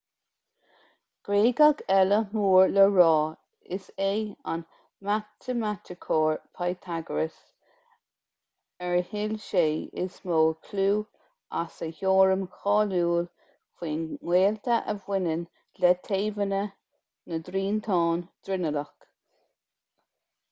gréagach eile mór le rá is é an matamaiticeoir pythagoras ar thuill sé is mó clú as a theoirim cháiliúil faoin ngaolta a bhaineann le taobhanna na dtriantán dronuilleach